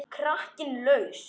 Kraginn er laus.